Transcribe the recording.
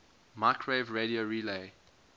microwave radio relay